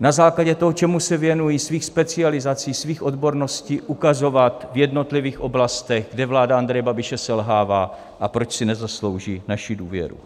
na základě toho, čemu se věnují, svých specializací, svých odborností, ukazovat v jednotlivých oblastech, kde vláda Andreje Babiše selhává a proč si nezaslouží naši důvěru.